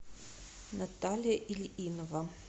наталья ильинова